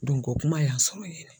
o kuma y'an sɔrɔ yen